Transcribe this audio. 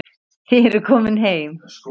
Þið eruð komin heim.